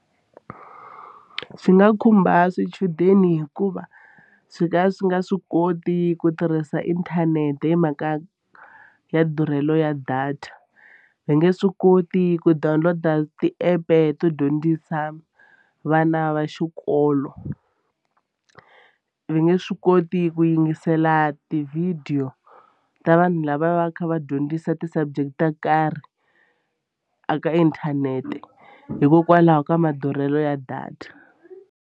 Swi nga khumba swichudeni hikuva swi ka swi nga swi koti ku tirhisa inthanete hi mhaka ya durhelo ya data. Va nge swi koti ku download-a ti-app-e to dyondzisa vana va xikolo va nge swi koti ku yingisela tivhidiyo ta vanhu lava va kha va dyondzisa ti-subject to karhi eka inthanete hikokwalaho ka madurhelo ya data.